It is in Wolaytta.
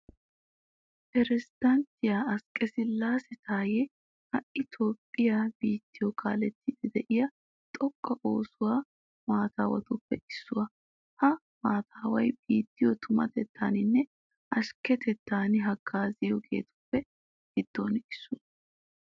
Pirezddanttiya asqqesillaase taayyee ha"i toophphiya biittiyo kaalettiiddi de'iya xoqqa oosuwa maataawatuppe issuwa. ha maataaway biittiyo tumatettaaninne ashkketettan haggaaziyageetu giddoppe issuwa.